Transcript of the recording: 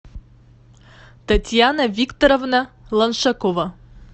татьяна викторовна лоншакова